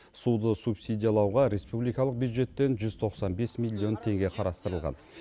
суды субсидиялауға республикалық бюджеттен жүз тоқсан бес миллион теңге қарастырылған